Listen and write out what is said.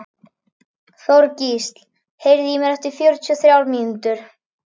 Þorgísl, heyrðu í mér eftir fjörutíu og þrjár mínútur.